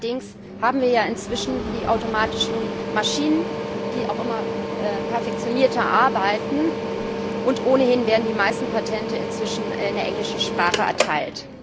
Allerdings haben wir ja inzwischen die automatischen Maschinen, die auch immer perfektionierter arbeiten, und ohnehin werden die meisten Patente inzwischen in englischer Sprache erteilt.